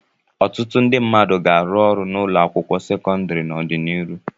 Ọtụtụ ndị mmadụ ga-arụ ọrụ na ụlọ akwụkwọ sekọndrị n'ọdịnihu.